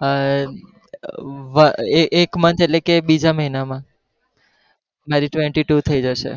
હા એક એક month એટેલે કે બીજા મહિનામાં મારી twenty two થઇ જશે